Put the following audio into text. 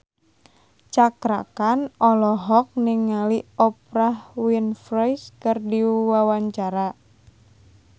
Cakra Khan olohok ningali Oprah Winfrey keur diwawancara